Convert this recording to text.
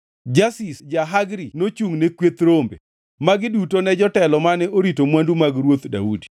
Jaziz ja-Hagri nochungʼne kweth rombe. Magi duto ne jotelo mane orito mwandu mag Ruoth Daudi.